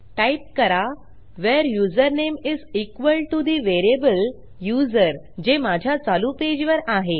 type करा where username is equal to the variable user जे माझ्या चालू पेजवर आहे